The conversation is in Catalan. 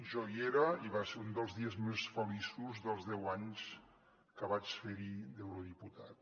jo hi era i va ser un dels dies més feliços dels deu anys que vaig fer hi d’eurodiputat